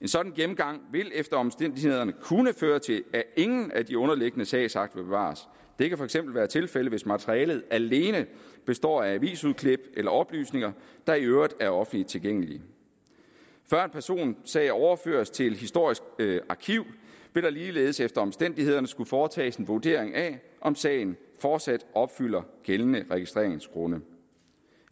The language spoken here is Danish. en sådan gennemgang vil efter omstændighederne kunne føre til at ingen af de underliggende sagsakter bevares det kan for eksempel være tilfældet hvis materialet alene består af avisudklip eller oplysninger der i øvrigt er offentligt tilgængelige før en personsag overføres til et historisk arkiv vil der ligeledes efter omstændighederne skulle foretages en vurdering af om sagen fortsat opfylder gældende registreringsgrunde